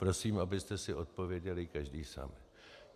Prosím, abyste si odpověděli každý sám.